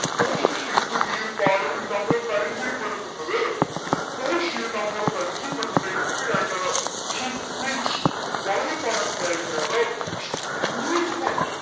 പോഷിയ ഈ ഒരു പാഠത്തിൽ നമ്മൾ പരിചയപ്പെടുത്തുന്നത് പോഷിയയെ നമ്മോട് പരിചയപ്പെടുത്തുന്നത് എങ്ങനെ ആയിട്ടാണ്. she is rich വളരെ പണക്കാരിയാണ് ശ് beautiful